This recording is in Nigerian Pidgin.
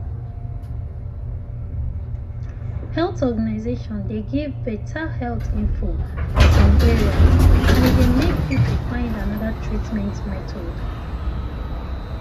health organization dey give better health info for some areas and e dey make people find another treatment method.